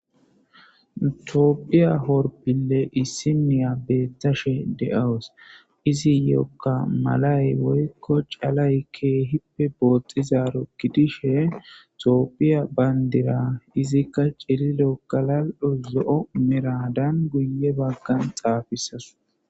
Etophiya horpille issinnya beettashe de'awusu, iziyokka malayi woykko chalayi keyippe bootizaro gidishshe, Etophiya bandira, izika cililo ,galaali'onne zo'o meraadan guyye baggan tsaafisasu.